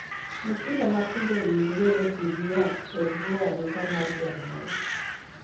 Nyithindo matindo owinjore otii gi yath e bwo arita mar janyuol.